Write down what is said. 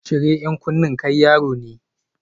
Cire 'yan kunne, kai yaro ne